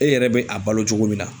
E yɛrɛ bɛ a balo cogo min na